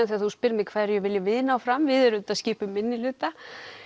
þegar þú spyrð mig hverju viljum við ná fram við auðvitað skipum minnihluta